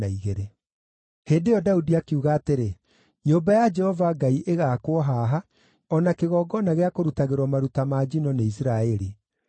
Hĩndĩ ĩyo Daudi akiuga atĩrĩ, “Nyũmba ya Jehova Ngai ĩgaakwo haha, o na kĩgongona gĩa kũrutagĩrwo maruta ma njino nĩ Isiraeli.”